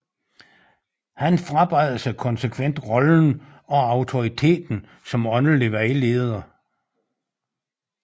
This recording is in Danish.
Han frabad sig konsekvent rollen og autoriteten som åndelig vejleder